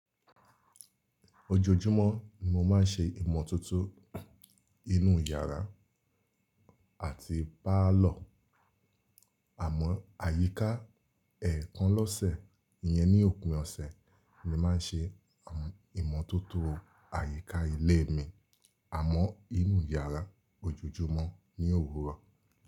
Ojoojúmọ́ ni mo má n ṣe ìmọ̀tótó inú iyàrá àti pálọ̀. Àmọ́ àyíká ẹ̀ẹ̀kan lọ́sẹ̀ yẹn ni òpin ọ̀sẹ̀ ni mo má n ṣe ìmọ̀tótó àyíká ilé mi àmọ́ inú yàrá ojoojúmọ́ ní òwúrọ̀.